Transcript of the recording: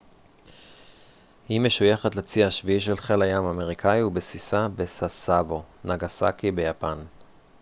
היא משויכת לצי השביעי של חיל הים האמריקאי ובסיסה בסאסבו נגאסאקי ביפן